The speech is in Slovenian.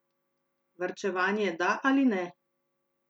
Varčevanje da ali ne?